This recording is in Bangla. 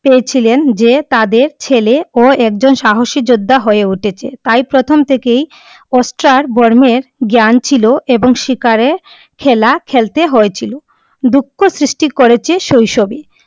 এই ছিলেন যে তাদের ছেলে ও এক জন সাহসী যোদ্ধা হয়ে উঠে চে। তাই প্রথম থেকেই অস্ত্র জ্ঞান ছিলো এবং শিকারে খেলা খেলতে হয়ে ছিলো। দুখ সৃষ্টি করেছে শৈশবে ।